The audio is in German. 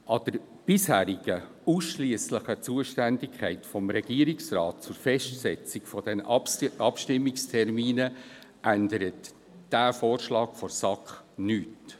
An der bisherigen ausschliesslichen Zuständigkeit des Regierungsrats bezüglich der Festsetzung der Abstimmungstermine ändert der Vorschlag der SAK nichts.